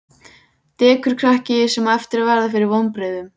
Dekurkrakki, sem á eftir að verða fyrir vonbrigðum.